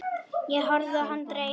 Horfi á hana dreyma.